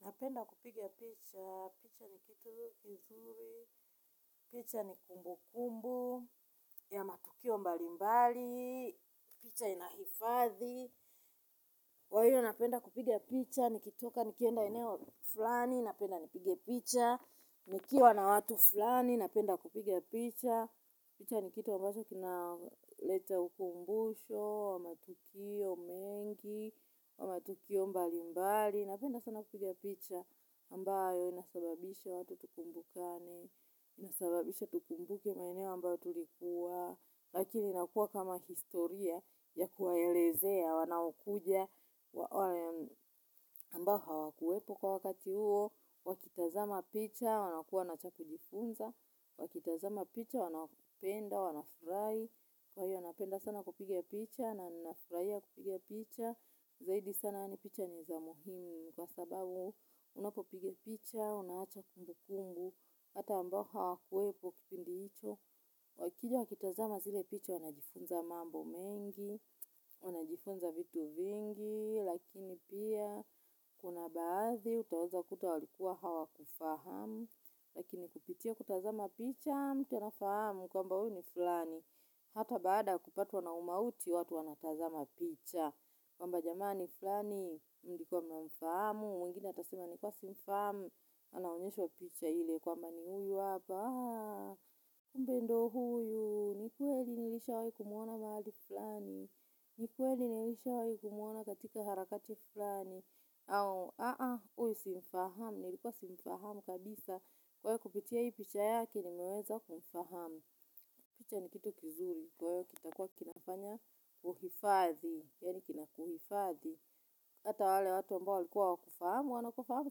Napenda kupigia picha, picha ni kitu kizuri, picha ni kumbu kumbu ya matukio mbali mbali, picha inahifadhi kwa hivyo napenda kupigia picha, nikitoka nikienda eneo fulani, napenda nipige picha. Nikiwa na watu fulani, napenda kupiga picha. Picha ni kitu ambacho kinaleta ukumbusho wa matukio mengi wa matukio mbalimbali ambayo inasababisha watu tukumbukane, inasababisha tukumbuke maeneo ambayo tulikuwa lakini inakua kama historia ya kuwaelezea, wanaokuja ambao hawakuwepo kwa wakati huo wakitazama picha wanakuwa na cha kujifunza, wakitazama picha wanapenda, wanafurahi kwa hiyo napenda sana kupiga picha na ninafurahia kupiga picha zaidi sana yaani picha ni za muhimu kwa sababu unapopiga picha unaacha kumbukumbu hata ambao hawakuwepok kipingi hicho. Wakija wakitazama zile picha wanajifunza mambo mengi, wanajifunza vitu vingi, lakini pia kuna baadhi utaweza kuta walikuwa hawakufahamu. Lakini kupitia kutazama picha, mtu anafahamu kwamba huyu ni fulani. Hata baada ya kupatwa na mauti watu wanatazama picha. Kwamba jamani fulani, mlikuwa mnamfahamu, mwingine atasema nilikwa simfahamu. Anaonyeshwa picha hile kwamba ni huyu apa kumbe ndio huyu nishai kumwona mahali fulani. Ni kweli nilishawahi kumwona katika harakati fulani. Au, aa, huyu simfahamu, nilikuwa simfahamu kabisa kwa hivyo kupitia hii picha yake, nimeweza kumfahamu. Picha ni kitu kizuri, kwa hio kitakuwa kinafanya uhifadhi. Yaani kinakuhifadhi. Hata wale watu ambao walikua hawakufahamu. Wanakufahamu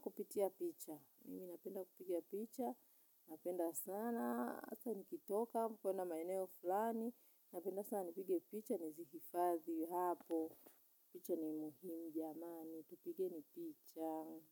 kupitia picha. Napenda kupiga picha. Napenda sana hasa nikitoka kwenda maeneo fulani. Napenda sana nipige picha nizihifadhi hapo. Picha ni muhimu jamani tupigeni picha.